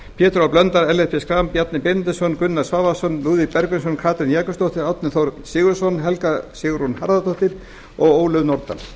pétur h blöndal ellert b schram bjarni benediktsson gunnar svavarsson lúðvík bergvinsson katrín jakobsdóttir árni þór sigurðsson helga sigrún harðardóttir og ólöf nordal